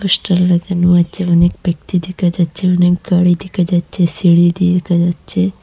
Poster লাগানো আছে অনেক ব্যক্তি দেখা যাচ্ছে অনেক গাড়ি দেখা যাচ্ছে সিঁড়ি দেখা যাচ্ছে।